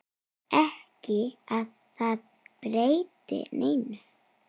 Ekki að það breytti neinu.